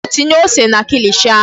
Biko tinye ose na kilishi ahụ.